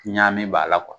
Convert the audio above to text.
Ɲa min b'a la